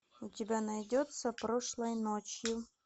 у тебя найдется прошлой ночью